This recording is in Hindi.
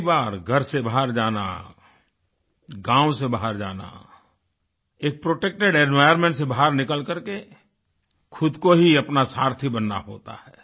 पहली बार घर से बाहर जाना गाँव से बाहर जाना एक प्रोटेक्टिव एनवायर्नमेंट से बाहर निकल करके खुद को ही अपना सारथी बनना होता है